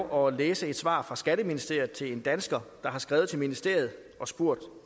at oplæse et svar fra skatteministeriet til en dansker der har skrevet til ministeriet og spurgt